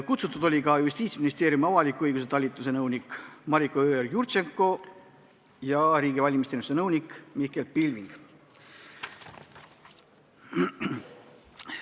Kutsutud olid ka Justiitsministeeriumi avaliku õiguse talituse nõunik Mariko Jõeorg-Jurtšenko ja riigi valimisteenistuse nõunik Mihkel Pilving.